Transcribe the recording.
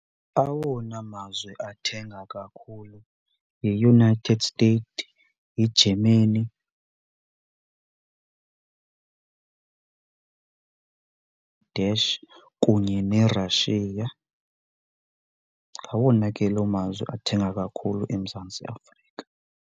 Awona mazwe athenga kakhulu yiUnited States, yiGermany dash kunye neRussia. Ngawona ke loo mazwe athenga kakhulu eMzantsi Afrika.